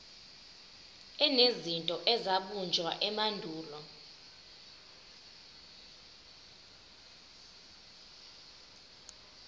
enezinto ezabunjwa emandulo